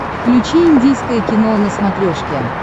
включи индийское кино на смотрешке